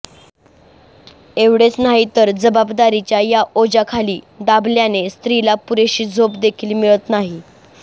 एवढेच नाही तर जबाबदारीच्या या ओझ्याखाली दाबल्याने स्त्रीला पुरेशी झोप देखील मिळत नाही